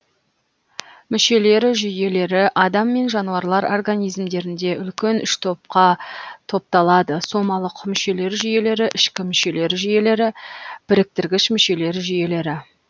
мүшелер жүйелері адам мен жануарлар организмдерінде үлкен үш топқа топталады сомалық мүшелер жүйелері ішкі мүшелер жүйелері біріктіргіш мүшелер жүйелері